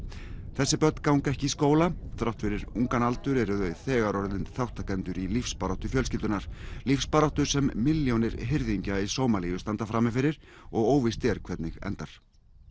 þessi börn ganga ekki í skóla þrátt fyrir ungan aldur eru þau þegar orðin þátttakendur í lífsbaráttu fjölskyldunnar lífsbaráttu sem milljónir hirðingja í Sómalíu standa frammi fyrir og óvíst er hvernig endar